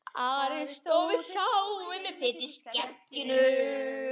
Ari stóð við sáinn með fitu í skegginu.